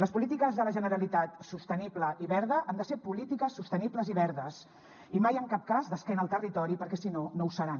les polítiques de la generalitat sostenible i verda han de ser polítiques sostenibles i verdes i mai en cap cas d’esquena al territori perquè si no no ho seran